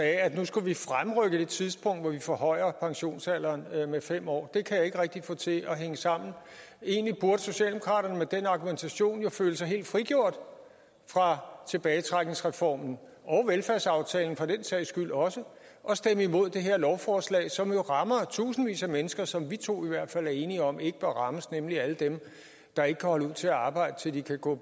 at nu skulle vi fremrykke det tidspunkt hvor vi forhøjer pensionsalderen med fem år det kan jeg ikke rigtig få til at hænge sammen egentlig burde socialdemokraterne med den argumentation jo føle sig helt frigjort fra tilbagetrækningsreformen og velfærdsaftalen for den sags skyld også og stemme imod det her lovforslag som rammer tusindvis af mennesker som vi to i hvert fald er enige om ikke bør rammes nemlig alle dem der ikke kan holde ud til at arbejde til de kan gå